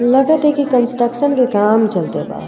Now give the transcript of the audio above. लगत ह की कंस्ट्रक्शन के काम चलते बा।